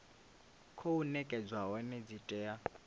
khou nekedzwa hone dzi tea